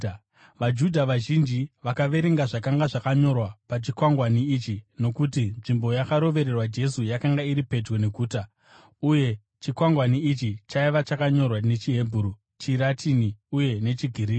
VaJudha vazhinji vakaverenga zvakanga zvakanyorwa pachikwangwani ichi, nokuti nzvimbo yakarovererwa Jesu yakanga iri pedyo neguta, uye chikwangwani ichi chaiva chakanyorwa nechiHebheru, chiRatini uye nechiGiriki.